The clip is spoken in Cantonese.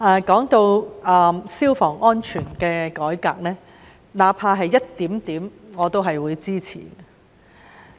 說到消防安全的改革，那怕只是一點點，我都會支持。